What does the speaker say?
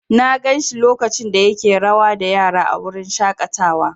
Na gan shi lokacin da yake rawa da yara a wurin shaƙatawa.